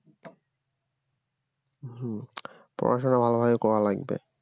পড়াশোনা ভালো করে করা লাগবে